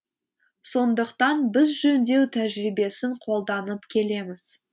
сондықтан біз жөндеу тәжірибесін қолданып келеміз